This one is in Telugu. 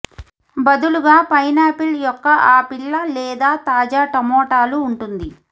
బదులుగా పైనాపిల్ యొక్క ఆపిల్ల లేదా తాజా టమోటాలు ఉంటుంది